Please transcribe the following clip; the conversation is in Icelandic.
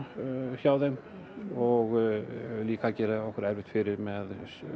hjá þeim og líka gerir okkur erfitt fyrir með